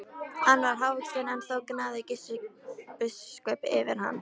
Hann var hávaxinn en þó gnæfði Gissur biskup yfir hann.